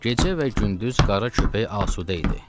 Gecə və gündüz qara köpək asudə idi.